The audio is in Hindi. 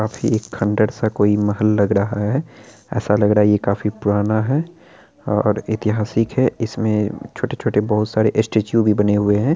काफी खंडर-सा कोई महल लग रहा है| ऐसा लग रहा कि ये काफी पुराना है और ऐतिहासिक है| इसमें छोटे-छोटे बहुत सारे स्टेचू भी बने हुए हैं।